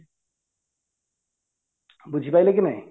ବୁଝି ପାରିଲେ କି ନାଇଁ